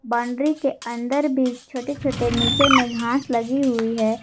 Boundary के अंदर भी छोटे छोटे नीचे में घास लगी हुई है।